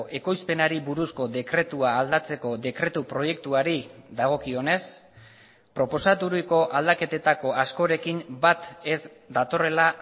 ekoizpenari buruzko dekretua aldatzeko dekretu proiektuari dagokionez proposaturiko aldaketetako askorekin bat ez datorrela